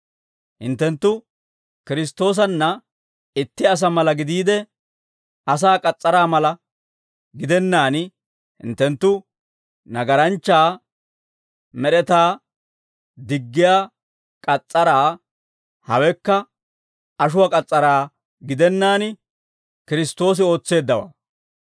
Hinttenttu Kiristtoosanna itti asaa mala gidiide, asaa k'as's'araa mala gidennaan, hinttenttu nagaranchcha med'etaa diggiyaa k'as's'araa, hawekka ashuwaa k'as's'araa gidennaan Kiristtoosi ootseeddawaa.